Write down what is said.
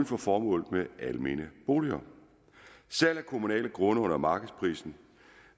fra formålet med almene boliger salg af kommunale grunde under markedsprisen